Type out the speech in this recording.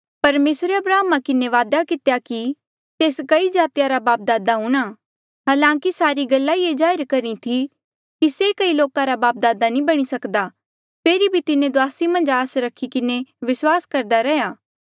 परमेसरे अब्राहमा किन्हें वादा कितेया कि तेस कई जातिया रा बापदादे हूंणां हलांकि सारी गल्ला ये जाहिर करी थी कि से कई लोका रा बापदादे नी बणी सकदा फेरी भी तिन्हें दुआसी मन्झ आस रखी किन्हें विस्वास करदा रैहया